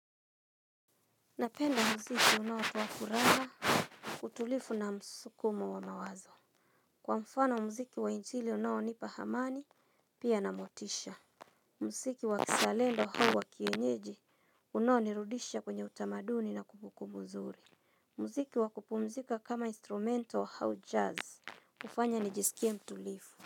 Napenda mziki unaokuwa furaha, utulifu na msukumo wa mawazo. Kwa mfano mziki wa injili unaonipa amani, pia na motisha. Mziki wa kizalendo au wa kienyeji, unaonirudisha kwenye utamaduni na kumbu kumbu zuri. Mziki wa kupumzika kama instrumento au jazz, ufanya nijisikie mtulifu.